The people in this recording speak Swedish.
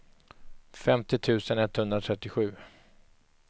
femtio tusen etthundratrettiosju